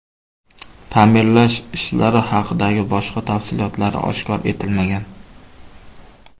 Ta’mirlash ishlari haqidagi boshqa tafsilotlari oshkor etilmagan.